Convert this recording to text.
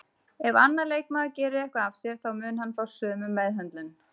Ef annar leikmaður gerir eitthvað af sér þá mun hann fá sömu meðhöndlun